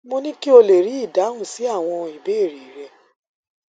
mo ní kí o lè rí ìdáhùn sí àwọn ìbéèrè rẹ